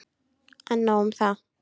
En nóg um það.